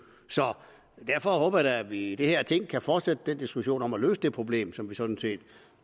derfor håber jeg da at vi i det her ting kan fortsætte den diskussion om at løse det problem som jeg sådan set